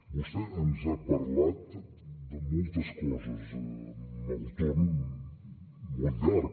vostè ens ha parlat de moltes coses amb el torn molt llarg